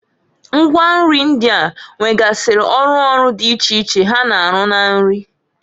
Ngwa nri ndịa nwegasịrị ọrụ ọrụ di iche iche ha na-arụ na nri.